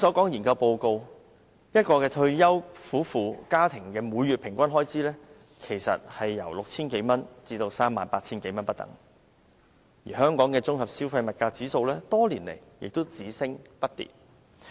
研究簡報指出，一對退休夫婦平均每月的家庭開支為 6,000 多元至 38,000 多元不等，而香港的綜合消費物價指數則多年來只升不跌。